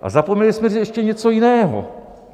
A zapomněli jsme říct ještě něco jiného.